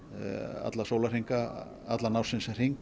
allan sólahringinn allan ársins hring